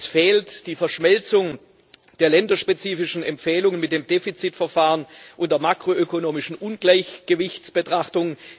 Es fehlt die Verschmelzung der länderspezifischen Empfehlungen mit dem Defizitverfahren und der makroökonomischen Ungleichgewichtsbetrachtung.